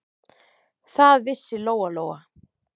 Það vissi Lóa-Lóa.